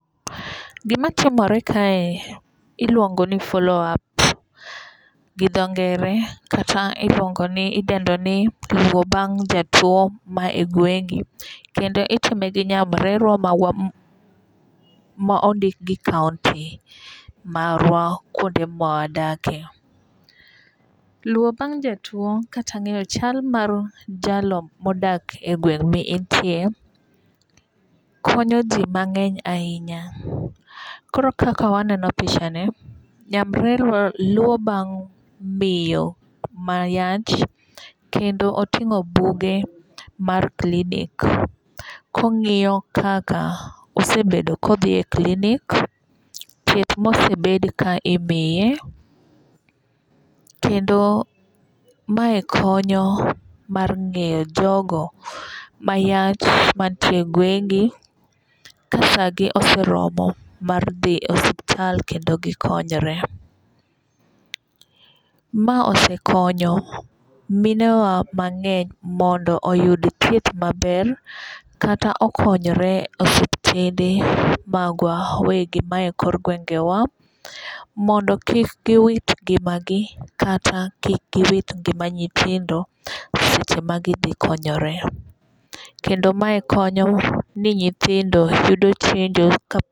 Gima tiomre kae iluongo ni follow-up gi dho ngere kata iluongo ni idendo ni luwo bang' jatuo ma e gwengi. Kendo itime gi nyamrerwa marwa ma ondik gi kaunti marwa kuonde mwadakie. Luwo bang' jatuo kata ng'eyo chal mar jalo modak e gweng mi intie konyo ji mang'eny ahinya. Koro kaka waneno pichani nyamrerwa luwo bang' miyo ma yach kendo oting'o buge mar klinik kong'iyo kaka osebedo kodhiye klinik, thieth mosebed ka imiye. Kendo mae konyo mar ng'eyo jogo mayach mantie gwengi, ka sa gi ose romo mar dhi osiptal kendo gikonyre. Ma osekonyo minewa mang'eny mondo oyud thieth maber'kata okonyre osiptende magwa wegi ma e kor gwenge wa mondo kik giwit ngima gi kata kik giwit ngima nyithindo seche ma gidhi konyore. Kendo mae konyowa ni nyithindo yudo chenjo